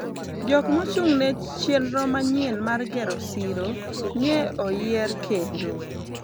jok mochung'ne chenro manyien mar gero siro nye oyier kendo